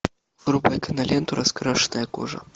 врубай киноленту раскрашенная кожа